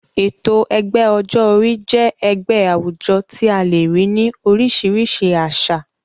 Ètò ẹgbẹ́ ọjọ́ orí jẹ́ ẹgbẹ́ àwùjọ tí a le rí ní oríṣìíríṣìí àsà.